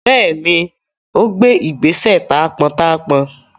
Bẹẹni, ó gbé ìgbésẹ̀ taápọntaápọn